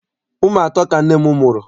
Ụmụ atọ ka nne m mụrụ.